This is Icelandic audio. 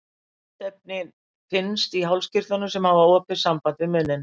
Smitefnið finnst í hálskirtlum, sem hafa opið samband við munninn.